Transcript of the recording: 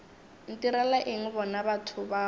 ntirela eng bona batho bao